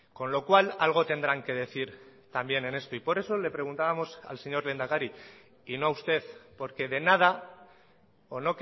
con lo cual algo tendrán que decir también en esto y por eso le preguntábamos al señor lehendakari y no a usted porque de nada o